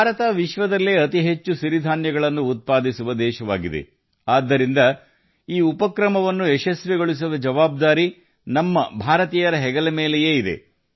ಭಾರತವು ವಿಶ್ವದಲ್ಲೇ ಅತಿ ಹೆಚ್ಚು ಸಿರಿಧಾನ್ಯಗಳ ಉತ್ಪಾದಕ ದೇಶವಾಗಿದೆ ಆದ್ದರಿಂದ ಈ ಉಪಕ್ರಮವನ್ನು ಯಶಸ್ವಿಗೊಳಿಸುವ ಜವಾಬ್ದಾರಿಯು ನಮ್ಮ ಭಾರತೀಯರ ಹೆಗಲ ಮೇಲಿದೆ